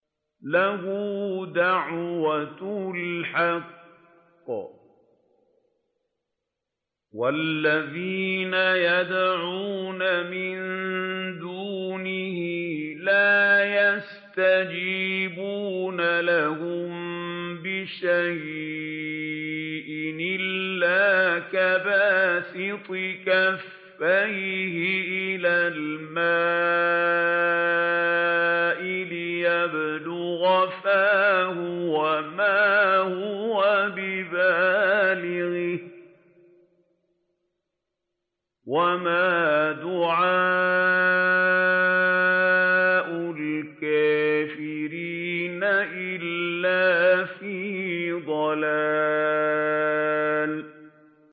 لَهُ دَعْوَةُ الْحَقِّ ۖ وَالَّذِينَ يَدْعُونَ مِن دُونِهِ لَا يَسْتَجِيبُونَ لَهُم بِشَيْءٍ إِلَّا كَبَاسِطِ كَفَّيْهِ إِلَى الْمَاءِ لِيَبْلُغَ فَاهُ وَمَا هُوَ بِبَالِغِهِ ۚ وَمَا دُعَاءُ الْكَافِرِينَ إِلَّا فِي ضَلَالٍ